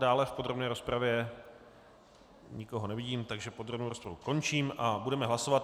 Dále v podrobné rozpravě nikoho nevidím, takže podrobnou rozpravu končím a budeme hlasovat.